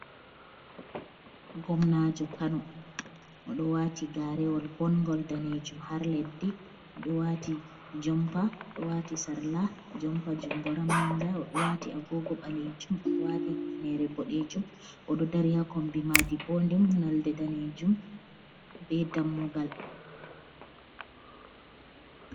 Ngomnajo Kano oɗo wati garewol bongol danejum har leddi, odo wati jompa, oɗo wati sarla jompa jungo ramminga, oɗo wati agogo ɓalejum, oɗo wati hifnere boɗejum, oɗo dari hakombi madi bo dum nolde danejum be dammugal.